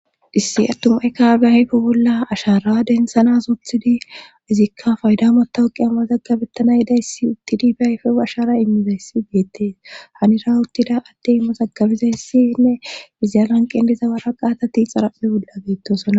issi attumay kehippe ayfe bolla ashara densanas oothidi izikka faydamota uqi amazaggabettana yidayssi uttidi be ayfewu ashara immizayssi geettees hanira uttida attey mazagabizayssinne iziyalan qelizawara qaatati xaraphe bolda bettosona